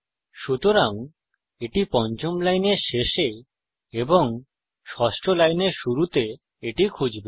সুতরাং এটি পঞ্চম লাইনের শেষে এবং ষষ্ঠ লাইনের শুরুতে এটি খুঁজবে